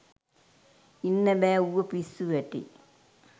ඉන්න බැහැ ඌව පිස්සු වැටෙයි.